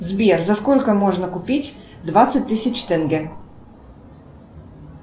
сбер за сколько можно купить двадцать тысяч тенге